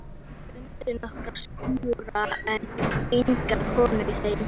Þau fundu nokkra skúra en enga konu í þeim.